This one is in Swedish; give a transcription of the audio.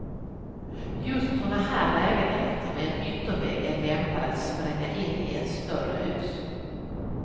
Just sådana här lägenheter med en yttervägg är lämpade att spränga in i ett större hus.